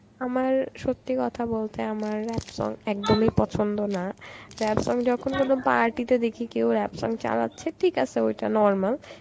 আমার সত্যি কথা বলতে আমার rap song একদমই পছন্দ না, rap song যখন কোন party তে দেখি কেউ rap song চালাচ্ছে ঠিক আসে ওইটা normal.